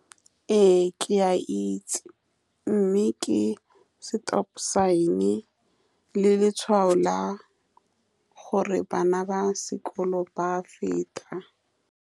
Ee, ke a itse, mme ke stop sign-e le letshwao la gore bana ba sekolo ba a feta.